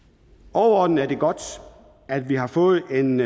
overordnet er det godt at vi har fået en